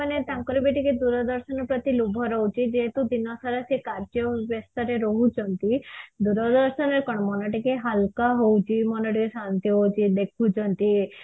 ତାଙ୍କର ର ବି ଟିକେ ଦୂରଦର୍ଶନ ପ୍ରତି ଲୋଭ ରହୁଛି ଦେହତୁ ଦିନସାରା ସେ କାର୍ଯ୍ୟ ବ୍ୟସ୍ତରେ ରହୁଛନ୍ତି ଦୂରଦର୍ଶନରେ କଣ ମନ ଟିକେ ହାଲକା ହଉଛି ମନ ଟିକେ ଶାନ୍ତି ହଉଛି ଦେଖୁଛନ୍ତି